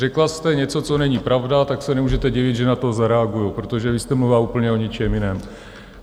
Řekla jste něco, co není pravda, tak se nemůžete divit, že na to zareaguji, protože vy jste mluvila úplně o něčem jiném.